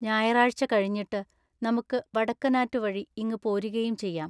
ഞായറാഴ്ച കഴിഞ്ഞിട്ട് നമുക്ക് വടക്കനാറ്റു വഴി ഇങ്ങു പോരികയും ചെയ്യാം.